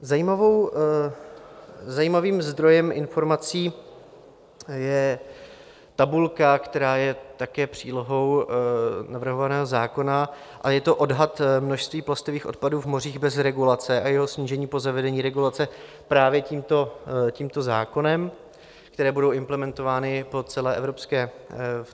Zajímavým zdrojem informací je tabulka, která je také přílohou navrhovaného zákona, a je to odhad množství plastových odpadů v mořích bez regulace a jeho snížení po zavedení regulace právě tímto zákonem, které budou implementovány v celé Evropské unii.